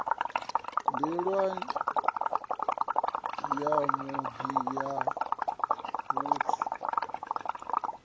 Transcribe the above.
nḓila ya vhudi ya vhuthu